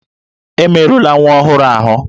Emerula nwa ọhụrụ ahụ!